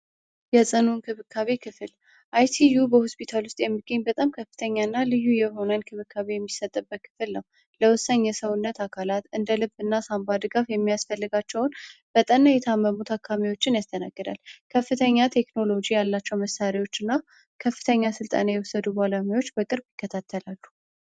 ጽሁ እክብካቤ ክፍል የተለያዩዩ በሁስፒታል ውስጥ የሚገኝ በጣም ከፍተኛ እና ልዩ የሆነን ክብካቤ የሚሰጠበት ክፍል ነው ለወሳኝ የሰውነት አካላት እንደ ልብ እና ሳንባድ ጋፍ የሚያስፈልጋቸውን በጠና የታመሙት አካሚዎችን ያስተናገዳል። ከፍተኛ ቴክኖሎጂ ያላቸው መሳሪዎች እና ከፍተኛ ሥልጣኔ የውሰዱ በላሚዎች በቅርብ ይከታተላሉ።